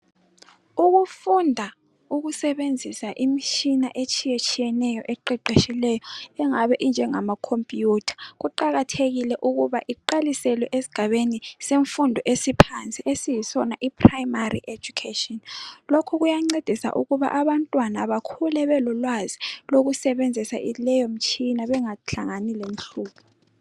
Ukufunda ukusebenzisa imitshina etshiye tshiyeneyo eqeqetshileyo engabe injengama "computer" kuqakathekile ukuba iqaliselwe esigabeni semfundo esiphansi esiyisona i"Primary education " lokhu kuyancedisa ukuba abantwana bakhule belolwazi lokusebenzisa leyo mitshina ukuze bengahlangani lenhlupho.